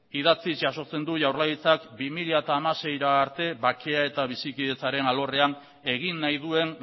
idatziz jasotzen du jaurlaritzak bi mila hamaseira arte bakea eta bizikidetzaren alorrean egin nahi duen